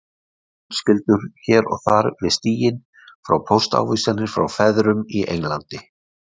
Fjölskyldur hér og þar við stíginn fá póstávísanir frá feðrunum í Englandi